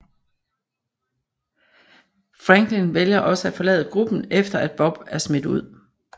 Franklin vælger også at forlade gruppen efter at Bob er smidt ud